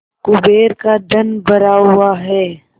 कुबेर का धन भरा हुआ है